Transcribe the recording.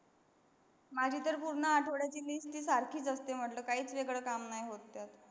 माझी तर पूर्ण आठवड्याची list ही सारखीच असते म्हटल काहच वेगळ काम नाही होत तर.